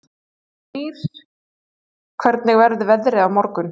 Dagnýr, hvernig verður veðrið á morgun?